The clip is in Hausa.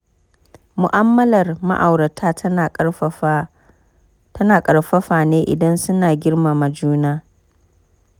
Mu'amalar ma'aurata tana ƙarfafa ne idan suna girmama juna.